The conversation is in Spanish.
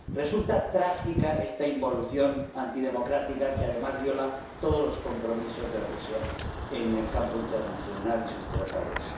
Resulta trágica esta involución antidemocrática que, además, viola todos los compromisos de Rusia en el campo internacional y sus tratados.